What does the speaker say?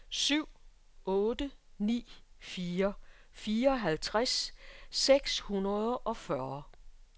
syv otte ni fire fireoghalvtreds seks hundrede og fyrre